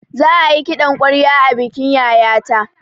Za ayi kiɗan ƙwarya a bikin yayata